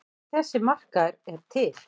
En þessi markaður er til.